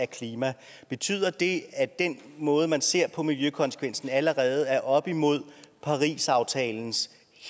klima betyder det at den måde man ser på miljøkonsekvensen på allerede er oppe imod parisaftalens